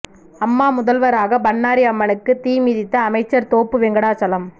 அம்மா முதல்வராக பண்ணாரி அம்மனுக்கு தீ மிதித்த அமைச்சர் தோப்பு வெங்கடாசலம்